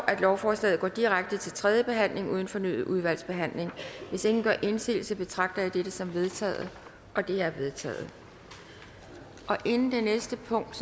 at lovforslaget går direkte til tredje behandling uden fornyet udvalgsbehandling hvis ingen gør indsigelse betragter jeg dette som vedtaget det er vedtaget inden det næste punkt